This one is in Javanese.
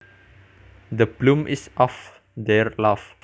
The bloom is off their love